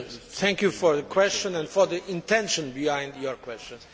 Thank you for your question and for the intention behind your question.